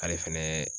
Ale fɛnɛ